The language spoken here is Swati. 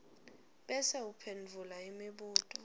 bese uphendvula imibuto